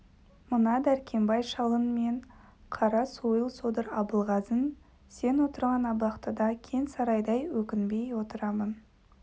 мына дәркембай шалың мен қара сойыл содыр абылғазың сен отырған абақтыда кең сарайдай өкінбей отырамын